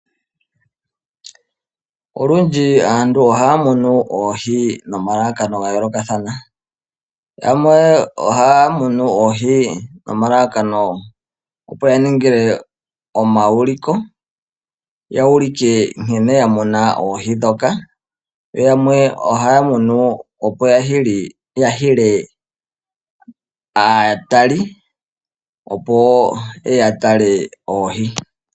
Olundji aantu ohaya munu oohi nomalalakano ga yoolokathana. Yamwe ohaya munu oohi nomalakano opo ya ninge omauliko , ya ulike nkene ya mona oohi ndhoka, yo yamwe ohaya munu opo ya hile aatali opo ye ye ya tale oohi.